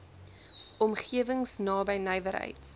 omgewings naby nywerheids